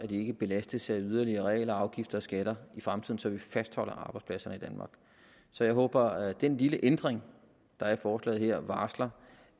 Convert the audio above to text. de ikke belastes af yderligere regler og afgifter og skatter i fremtiden så vi fastholder arbejdspladserne i danmark så jeg håber at den lille ændring der er i forslaget her varsler